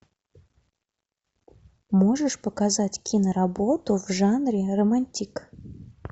можешь показать киноработу в жанре романтик